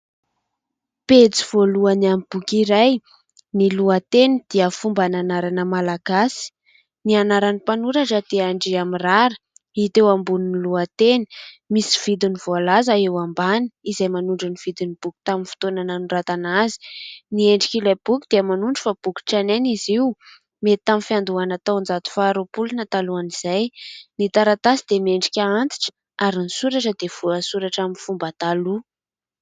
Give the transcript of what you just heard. Pejy voalohany amin'ny boky iray, ny lohateny dia fomban' anarana malagasy. Ny anaran'ny mpanoratra dia Andriamirara hita eo ambonin'ny lohateny. Misy vidiny voalaza eo ambany, izay manondro ny vidin'ny boky tamin'ny fotoana nanoratana azy. Ny endrik' ilay boky dia manondro fa boky tranainy izy io, mety tamin'ny fiandohana taon-jato faha roapolo na talohan' izay. Ny taratasy dia miendrika antitra, ary ny soratra dia voasoratra amin'ny fomba taloha.